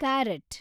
carrot